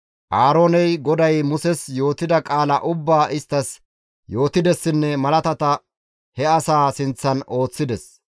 Aarooney GODAY Muses yootida qaala ubbaa isttas yootidessinne malaatata he asaa sinththan ooththides.